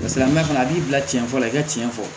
silamɛmɛ fana a b'i bila cɛn fɔlɔ i ka tiɲɛ fɔ